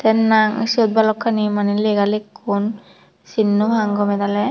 nang siyut balokkani mane lega lekkun sin nopang gome dale.